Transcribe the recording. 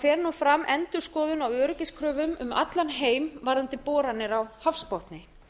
fer nú fram endurskoðun á öryggiskröfum um allan heim varðandi boranir á hafsbotni